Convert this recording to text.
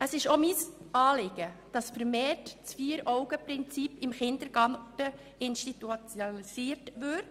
Es ist auch mir ein Anliegen, dass das Vier-AugenPrinzip vermehrt im Kindergarten institutionalisiert wird.